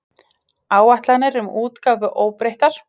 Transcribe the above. Áætlanir um útgáfu óbreyttar